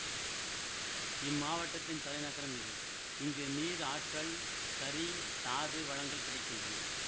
இம்மாவட்டத்தின் தலைநகரம் இது இங்கு நீர் ஆற்றல் கரி தாது வளங்கள் கிடை கின்றன